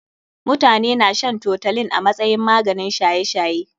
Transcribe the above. Mutane na shan toutolin a masayin maganin shaye shaye.